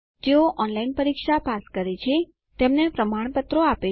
જેઓ ઓનલાઇન પરીક્ષા પાસ કરે છે તેમને પ્રમાણપત્ર આપે છે